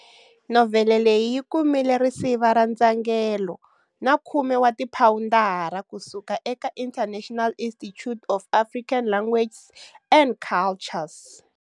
Novhele leyi yi kumile risiva ra ndzhangelo na khume ra tiphawundara ku suka eka International Institute of African Languages and Cultures.